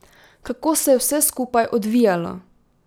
Kako se je vse skupaj odvijalo?